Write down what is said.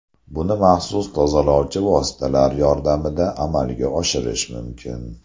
Buni maxsus tozalovchi vositalar yordamida amalga oshirish mumkin.